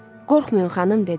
Qorxmayın, xanım, dedi.